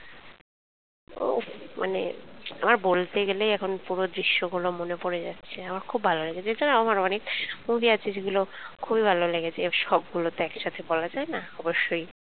উহ মানে আমার বলতে গেলেই এখন পুরো দৃশ্য গুলো মনে পরে যাচ্ছে আমার খুব ভালো লাগছে যেটা না আমার অনেক movie আছে যেগুলো আমার খুব ভালো লেগেছে সবকিছু তো আর একই সঙ্গে বলা যায় না নিশ্চয়ই।